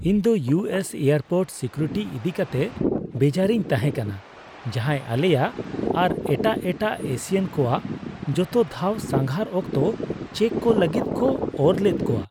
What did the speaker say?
ᱤᱧ ᱫᱚ U S airport security ᱤᱫᱤᱠᱟᱛᱮ ᱵᱮᱡᱟᱨᱤᱧ ᱛᱟᱦᱮᱸ ᱠᱟᱱᱟ, ᱡᱟᱦᱟᱸᱭ ᱟᱞᱮᱭᱟᱜ ᱟᱨ ᱮᱴᱟᱜ ᱮᱟᱴᱜ ᱮᱥᱤᱭᱟᱱ ᱠᱚᱣᱟᱜ ᱡᱚᱛᱚ ᱫᱷᱟᱣ ᱥᱟᱸᱜᱷᱟᱨ ᱚᱠᱛᱚ ᱪᱮᱠ ᱠᱚ ᱞᱟᱹᱜᱤᱫ ᱠᱚ ᱚᱨᱞᱮᱫ ᱠᱚᱣᱟ ᱾